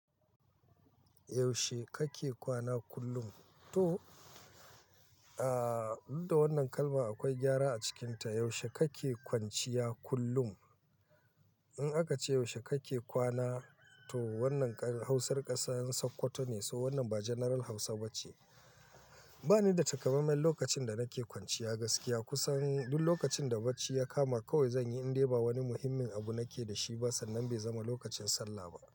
Yaushe kake kwana kullum? Toh, aah, duk da wannan kalma akwai gyara a cikinta. Yaushe kake kwanciya kullum? In aka ce yaushe kake kwana, to wannan ƙarin Hausar ƙasan Sokoto ne, so wannan ba general Hausa ba ce. Ba ni da takamaiman lokacin da nake kwanciya gaskiya. Kusan duk lokacin da bacci ya kama kawai zan yi in dai ba wani muhimmin abu nake da shi ba sannan bai zama lokacin sallah ba.